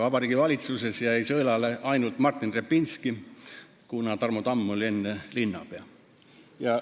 Vabariigi Valitsusest jäi sõelale ainult Martin Repinski, kuna Tarmo Tamm oli enne linnapea.